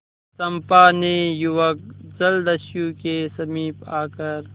चंपा ने युवक जलदस्यु के समीप आकर